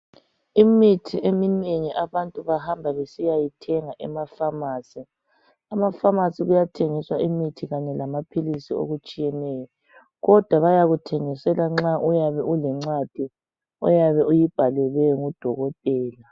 Imithi eminengi abantu bahamba besiyayithenga emafamasi .Emafamasi kuyathengiswa imithi kanye lamaphilisi okutshiyeneyo kodwa bayakuthengisela nxa uyabe ulencwadi oyabe uyibhalelwe nguDokotela.